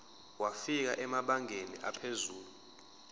wafika emabangeni aphezulu